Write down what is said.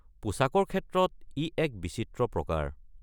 পোছাকৰ ক্ষেত্ৰত ই এক বিচিত্ৰ প্ৰকাৰ!